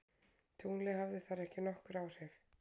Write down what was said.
Tunglið hafði þar ekki nokkur áhrif.